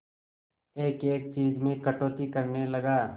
एक एक चीज में कटौती करने लगा